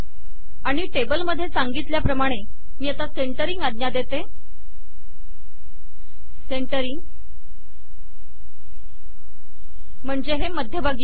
आणि टेबलमधे सांगितल्याप्रमाणे मी सेंटरिंग म्हणते म्हणजे हे मध्यभागी येईल